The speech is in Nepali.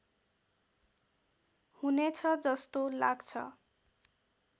हुनेछ जस्तो लाग्छ